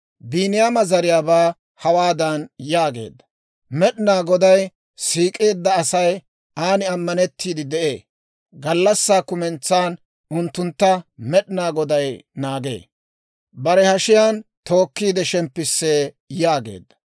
Biiniyaama zariyaabaa hawaadan yaageedda; «Med'inaa Goday siik'eedda Asay aan ammanettiide de'ee. Gallassaa kumentsan unttuntta Med'inaa Goday naagee; bare hashiyaan tookkiide shemppisee» yaageedda.